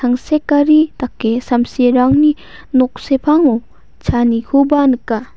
tangsekari dake samsirangni nok sepango chaanikoba nika.